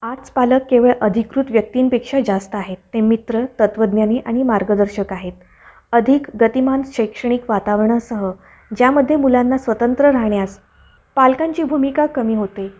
आज पालक केवळ अधिकृत व्यक्तींपेक्षा जास्त आहेत. ते मित्र, तत्वज्ञानी आणि मार्गदर्शक आहेत. अधिक गतिमान शैक्षणिक वातावरणासह ज्यामध्ये मुलांना स्वतंत्र राहण्यास पालकांची भूमिका कमी होते.